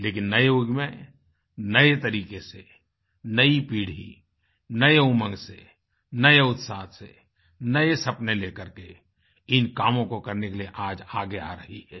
लेकिन नए युग में नए तरीके से नई पीढ़ी नए उमंग से नए उत्साह से नए सपने लेकर के इन कामों को करने के लिए आज आगे आ रही है